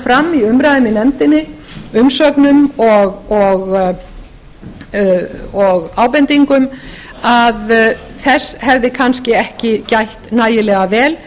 fram í umræðum í nefndinni umsögnum og ábendingum að þess hefði kannski ekki gætt nægilega vel